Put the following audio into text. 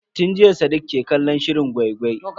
Tun jiya sadiq ke kallon shirin gwai-gwai.